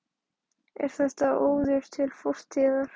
Linda: Er þetta óður til fortíðar?